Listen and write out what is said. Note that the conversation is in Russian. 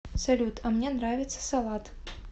салют а мне нравится салат